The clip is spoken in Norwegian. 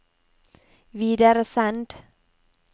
videresend